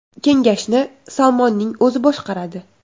Kengashni Salmonning o‘zi boshqaradi.